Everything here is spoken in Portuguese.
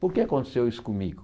Por que aconteceu isso comigo?